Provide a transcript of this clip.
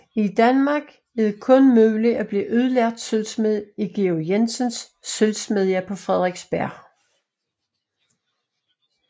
I Danmark er det kun muligt at blive udlært sølvsmed i Georg Jensens sølvsmedje på Frederiksberg